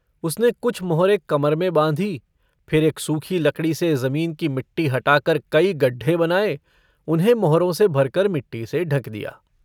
उसने कुछ मोहरे कमर में बाँधी। फिर एक सूखी लकड़ी से जमीन की मिट्टी हटाकर कई गड्ढे बनाए। उन्हें मोहरों से भरकर मिट्टी से ढँक दिया।